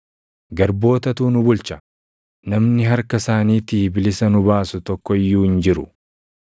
Garbootatu nu bulcha; namni harka isaaniitii bilisa nu baasu tokko iyyuu hin jiru.